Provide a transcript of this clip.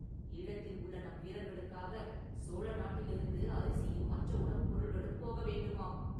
ஈழத்தில் உள்ள நம் வீரர்களுக்காகச் சோழ நாட்டிலிருந்து அரிசியும் மற்ற உணவுப் பொருள்களும் போக வேண்டுமாம்!